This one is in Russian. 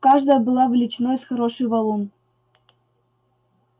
каждая была величиной с хороший валун